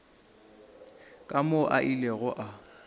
ka moo a ilego a